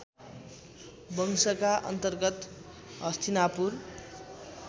वंशका अन्तर्गत हस्तिनापुर